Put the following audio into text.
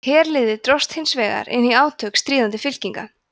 herliðið dróst hins vegar inn í átök stríðandi fylkinga